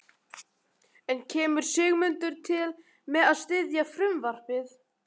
En kemur Sigmundur til með að styðja frumvarpið?